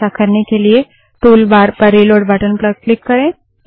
ऐसा करने के लिए टूल बार पर रिलोड़ बटन पर क्लिक करें